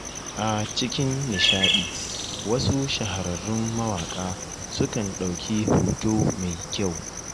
A cikin nishaɗi wasu shahararrun mawaƙa sukan ɗauki hoto mai kyau